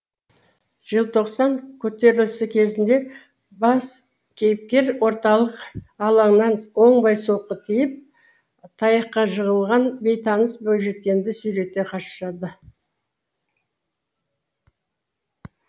желтоқсан көтерілісі кезінде бас кейіпкер орталық алаңнан оңбай соққы тиіп таяққа жығылған бейтаныс бойжеткенді сүйрете қашады